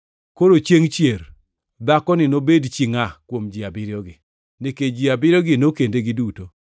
Koro, chiengʼ chier dhakoni nobed chi ngʼa kuom ji abiriyogi, nikech ji abiriyogo nokende giduto?”